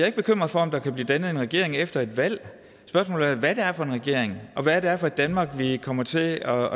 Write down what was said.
ikke bekymret for om der kan blive dannet en regering efter et valg spørgsmålet er hvad det er for en regering og hvad det er for et danmark vi kommer til at